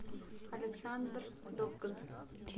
александр довган